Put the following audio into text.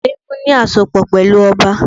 Àwọn eégún ní àsopọ̀ pẹ̀lú ọba